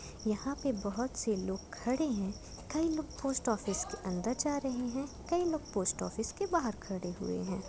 यहां पे बोहोत से लोग खड़े है कई लोग पोस्टऑफिस के अंदर जा रहे हैं यहां पर कई लोग पोस्टऑफिस के बहार खड़े हुए हैं।